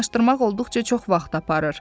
Aydınlaşdırmaq olduqca çox vaxt aparır.